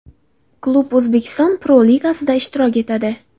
Klub O‘zbekiston Pro-Ligasida ishtirok etadi.